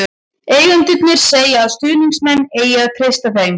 Eigendurnir segja að stuðningsmenn eigi að treysta þeim.